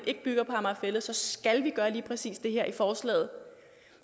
ikke bygger på amager fælled skal vi gøre lige præcis det her i forslaget